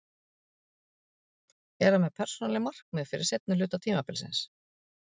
Er hann með persónuleg markmið fyrir seinni hluta tímabilsins?